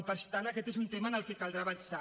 i per tant aquest és un tema en què caldrà avançar